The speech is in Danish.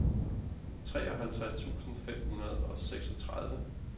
treoghalvtreds tusind fem hundrede og seksogtredive